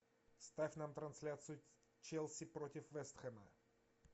ставь нам трансляцию челси против вест хэма